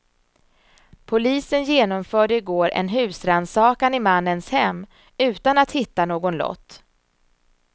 Polisen genomförde i går en husrannsakan i mannens hem utan att hitta någon lott.